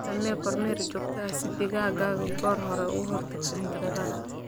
Samee kormeer joogto ah digaaggaaga si aad goor hore u ogaatid cudurrada.